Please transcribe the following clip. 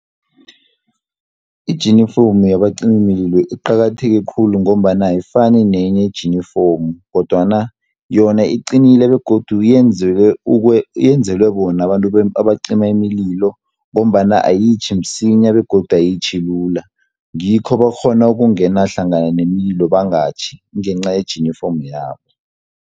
Ijinifomu yabacimimlilo iqakatheke khulu, ngombana ayifani nenye ijinifomu, kodwana yona iqinile, begodu yenzelwe bona abantu abacima iimlilo ngombana ayitjhi msinya, begodu ayitjhi lula. Ngikho bakghona ukungena hlangana nemililo bangatjhi, kungencaye jinifomu yabo.